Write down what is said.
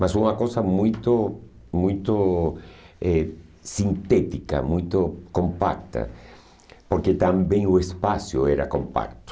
Mas uma coisa muito muito eh sintética, muito compacta, porque também o espaço era compacto.